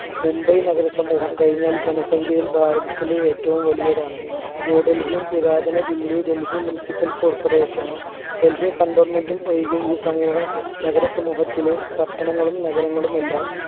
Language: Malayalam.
മുംബൈ നഗര സമൂഹം കഴിഞ്ഞാൽ ജനസംഖ്യയിൽ ഭാരതത്തിലെ ഏറ്റവും വലിയതാണ് ന്യൂഡൽഹിയും പുരാതന ദില്ലി ഡൽഹി municipal corporation നും ഡൽഹി cantonment ഉം ഒഴികെ ഈ സമൂഹ നഗര സമൂഹത്തിലെ പട്ടണങ്ങളും നഗരങ്ങളും എല്ലാം